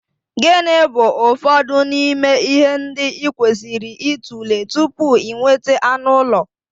Gịnị bụ ụfọdụ n'ime ihe ndị ị kwesịrị ịtụle tupu ị nweta anụ ụlọ?